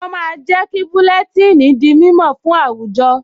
Wọ́n máa ń jẹ́ kí búlẹ́tíìnì di mímọ̀ fún àwùjọ